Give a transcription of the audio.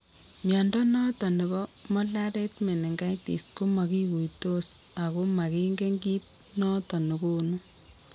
Mnyondo noton nebo Mollaret meningitis ko makikuitos ako makingen kiit noton negonu